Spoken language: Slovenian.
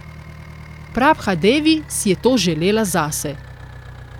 Prabha Devi si je to želela zase.